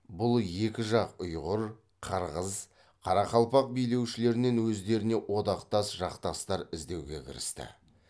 бұл екі жақ ұйғыр қырғыз қарақалпақ билеушілерінен өздеріне одақтас жақтастар іздеуге кірісті